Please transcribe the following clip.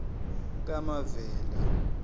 kamavela